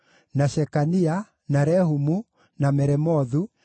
na Shekania, na Rehumu, na Meremothu,